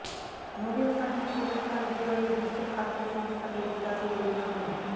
Nobel শান্তি পুরস্কার বিজয়ে বিশ্ব খাদ্য সংস্থাকে বিকাশের অভিনন্দন